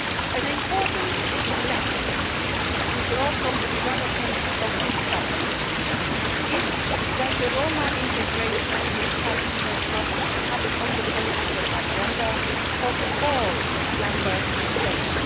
An important lesson to draw from the developments of this summer is that Roma integration is a challenge that must be kept on the political agenda of all Member States.